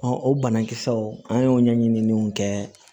o banakisɛw an y'o ɲɛɲiniw kɛ